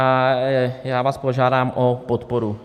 A já vás požádám o podporu.